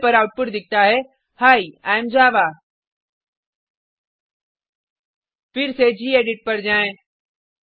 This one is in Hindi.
टार्मिनल पर आउटपुट दिखता है ही आई एएम जावा फिर से गेडिट पर जाएँ